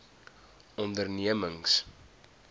ondernemings